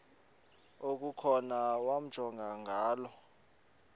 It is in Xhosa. okukhona wamjongay ngaloo